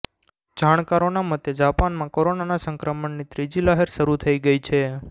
જાણકારોના મતે જાપાનમાં કોરોના સંક્રમણની ત્રીજી લહેર શરૂ થઈ ગઈ છે